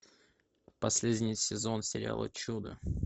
последний сезон сериала чудо